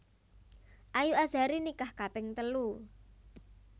Ayu Azhari nikah kaping telu